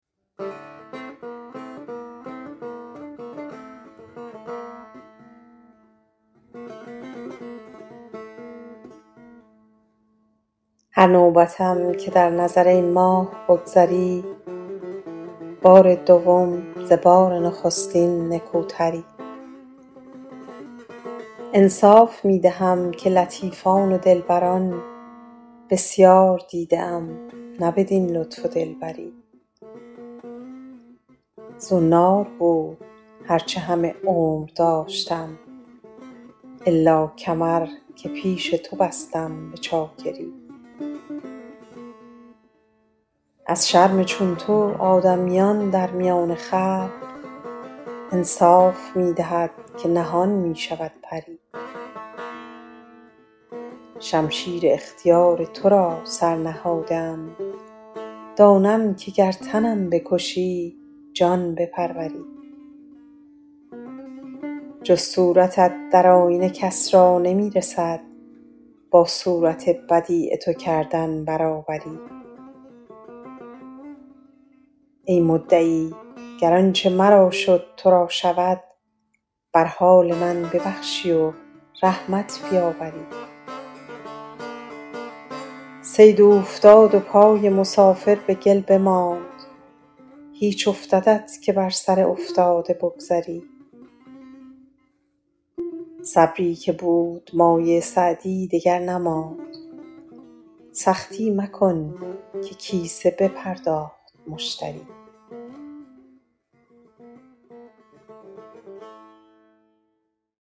هر نوبتم که در نظر ای ماه بگذری بار دوم ز بار نخستین نکوتری انصاف می دهم که لطیفان و دلبران بسیار دیده ام نه بدین لطف و دلبری زنار بود هر چه همه عمر داشتم الا کمر که پیش تو بستم به چاکری از شرم چون تو آدمیان در میان خلق انصاف می دهد که نهان می شود پری شمشیر اختیار تو را سر نهاده ام دانم که گر تنم بکشی جان بپروری جز صورتت در آینه کس را نمی رسد با صورت بدیع تو کردن برابری ای مدعی گر آنچه مرا شد تو را شود بر حال من ببخشی و حالت بیاوری صید اوفتاد و پای مسافر به گل بماند هیچ افتدت که بر سر افتاده بگذری صبری که بود مایه سعدی دگر نماند سختی مکن که کیسه بپرداخت مشتری